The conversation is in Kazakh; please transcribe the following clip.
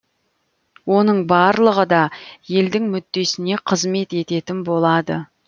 оның барлығы да елдің мүддесіне қызмет ететін болады